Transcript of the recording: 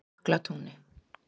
Jöklatúni